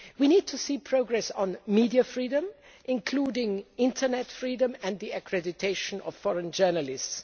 We need to see progress on media freedom, including internet freedom and the accreditation of foreign journalists.